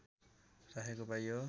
राखेको पाइयो